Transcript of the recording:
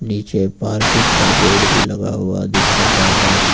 पीछे पार्किंग का बोर्ड भी लगा हुआ दिख रहा है।